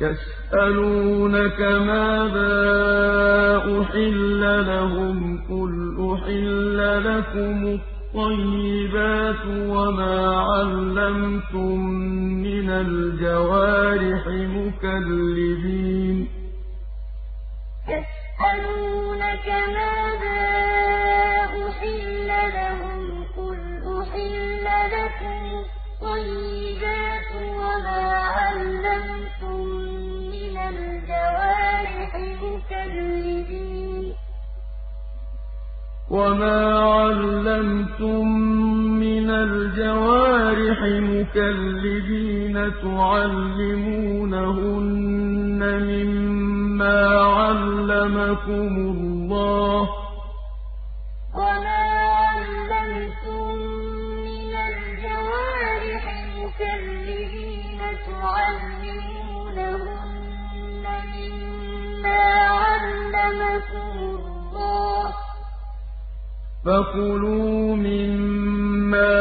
يَسْأَلُونَكَ مَاذَا أُحِلَّ لَهُمْ ۖ قُلْ أُحِلَّ لَكُمُ الطَّيِّبَاتُ ۙ وَمَا عَلَّمْتُم مِّنَ الْجَوَارِحِ مُكَلِّبِينَ تُعَلِّمُونَهُنَّ مِمَّا عَلَّمَكُمُ اللَّهُ ۖ فَكُلُوا مِمَّا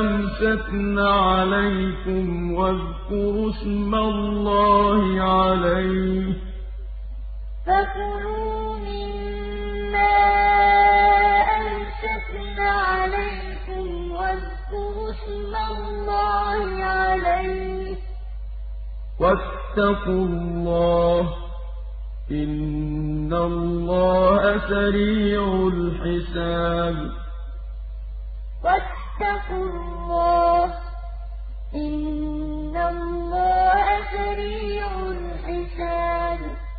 أَمْسَكْنَ عَلَيْكُمْ وَاذْكُرُوا اسْمَ اللَّهِ عَلَيْهِ ۖ وَاتَّقُوا اللَّهَ ۚ إِنَّ اللَّهَ سَرِيعُ الْحِسَابِ يَسْأَلُونَكَ مَاذَا أُحِلَّ لَهُمْ ۖ قُلْ أُحِلَّ لَكُمُ الطَّيِّبَاتُ ۙ وَمَا عَلَّمْتُم مِّنَ الْجَوَارِحِ مُكَلِّبِينَ تُعَلِّمُونَهُنَّ مِمَّا عَلَّمَكُمُ اللَّهُ ۖ فَكُلُوا مِمَّا أَمْسَكْنَ عَلَيْكُمْ وَاذْكُرُوا اسْمَ اللَّهِ عَلَيْهِ ۖ وَاتَّقُوا اللَّهَ ۚ إِنَّ اللَّهَ سَرِيعُ الْحِسَابِ